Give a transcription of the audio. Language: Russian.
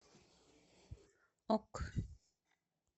ок